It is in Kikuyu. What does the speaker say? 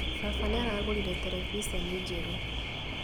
Baba nĩaragũrire terebiceni njerũ